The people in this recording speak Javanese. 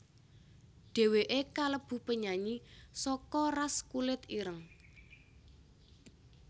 Dhèwèkè kalebu penyanyi saka ras kulit ireng